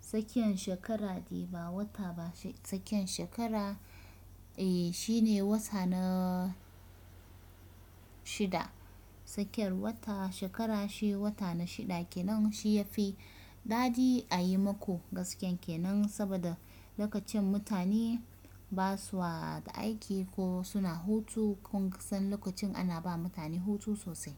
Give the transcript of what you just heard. tskiyan shekara de ba wata ba, tsakiyan shekara eh shine wata na shida. Tsakiyan wata shekara shi wata na shida kenan shi ya fi dadi a yi mako gaskiyan kenan saboda lokacin mutane ba sua da aiki ko suna hutu. Kun san lokacin ana ba mutane hutu sosai.